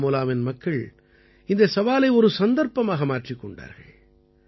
பாராமூலாவின் மக்கள் இந்தச் சவாலை ஒரு சந்தர்ப்பமாக மாற்றிக் கொண்டார்கள்